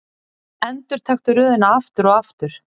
Endurtaktu röðina aftur og aftur.